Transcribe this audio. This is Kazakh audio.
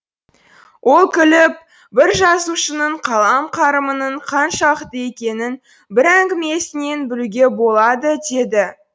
ол күліп бір жазушының қалам қарымының қаншалықты екенін бір әңгімесінен білуге болады деді